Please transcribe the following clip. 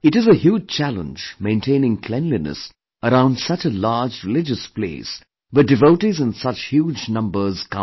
It is a huge challenge maintaining cleanliness around such a large religious place where devotees in such huge number come